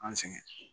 An sɛgɛn